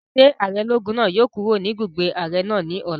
Ṣé ààrẹ ológun náà yóò kúrò ní ibùgbé ààrẹ náà ní ọ̀la?